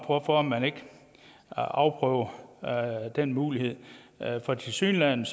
hvorfor man ikke afprøver den mulighed for tilsyneladende